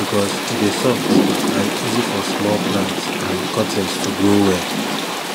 because e dey soft and easy for small plants and cuttings to grow well